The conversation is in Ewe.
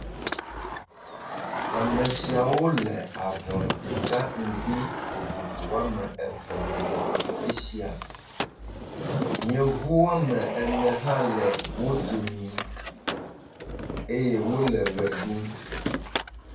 Ame siawo le avɔ ɖeka ŋgbi vovovo woame eve me le afi sia. Yevu woame ene hã le wo domi eye wole ʋe ɖum.